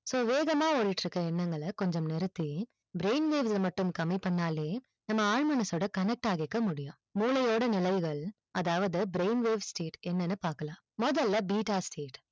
so வேகமா ஓடிட்டு இருக்க எண்ணங்கள கொஞ்சம் நிறுத்தி brain waves அ மட்டும் கொஞ்சம் கம்மி பண்ணாலே நம்ம ஆள் மனசோட connect ஆகிக்க முடியும் முளையோட நினைவுகள் அதாவது brain waves state என்னனு பாக்கலாம் மொதல beta state